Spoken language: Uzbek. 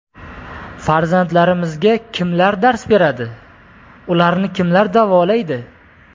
Farzandlarimizga qimlar dars beradi, ularni kimlar davolaydi?